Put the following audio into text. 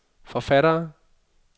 forfattere